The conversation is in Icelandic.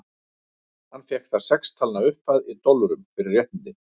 Hann fékk þar sex talna upphæð, í dollurum, fyrir réttindin.